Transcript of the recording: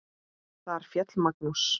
Þar féll Magnús.